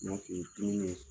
Mun y'a t'u ye kini ɲɛn